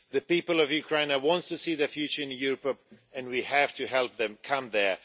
The people of Ukraine now want to see their future in Europe, and we have to help them get there.